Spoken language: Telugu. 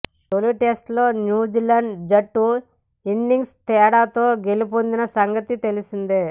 తొలి టెస్టులో న్యూజిలాండ్ జట్టు ఇన్నింగ్స్ తేడాతో గెలుపొందిన సంగతి తెలిసిందే